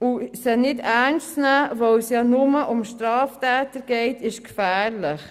Und sie nicht ernst zu nehmen, weil es ja nur um Straftäter geht, ist gefährlich.